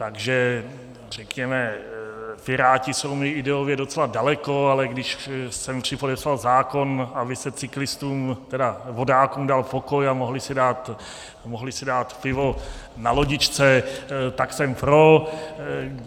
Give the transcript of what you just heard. Takže řekněme, Piráti jsou mi ideově docela daleko, ale když jsem připodepsal zákon, aby se cyklistům, tedy vodákům dal pokoj a mohli si dát pivo na lodičce, tak jsem pro.